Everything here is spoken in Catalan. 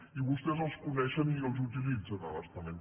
i vostès els coneixen i els utilitzen a bastament